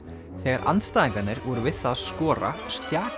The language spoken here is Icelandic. þegar andstæðingarnir voru við það að skora